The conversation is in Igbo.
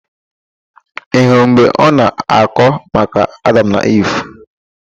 Ị hụrụ mgbe ọ na-akọ maka Adam na Iv?